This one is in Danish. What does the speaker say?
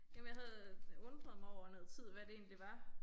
Jamen jeg havde øh undret mig over i noget tid hvad det egentlig var